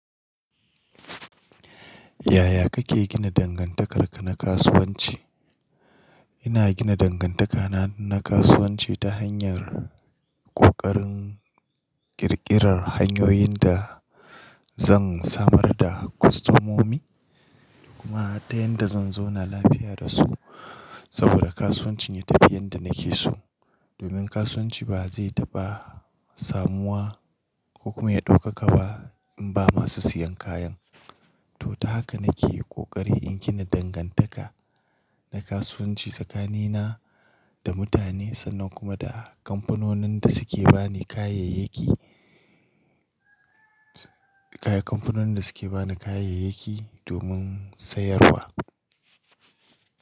Yaya kake gina dangantakarka na kasuwanci? Ina gina dangantakana na kasuwanci ta hanyar ƙoƙarin ƙirƙirar hanyoyin da zan samar da kwastomomi kuma har ta yanda zan zauna lafiya da su. Saboda kasuwancin ya tafi yanda nake so. Domin kasuwanci ba zai taɓa samuwa ko kuma ya ɗaukaka ba in ba masu siyan kayan. To, ta haka nake yi kokari in gina dangantaka na kasuwanci tsakanina da mutane sannan kuma da kamfanonin da suke bani kayayyaki, kaya, kamfanonin da suke bani kayayyaki domin sayarwa.